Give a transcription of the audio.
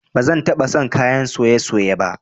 Ba zan taba son kayan soye-soye ba